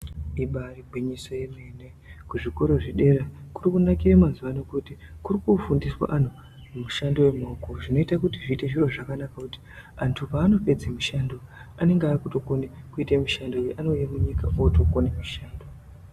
Ibari gwinyiso yemene kuzvikora zvedera kurikunakira mazuvaano kuti kurikufundiswa antu mishando yemaoko zvinoita kuti zviite zviro zvakanaka kuti antu paanopedza mishando anenge akutokona kuite mishando anouya munyika akutokona kushanda.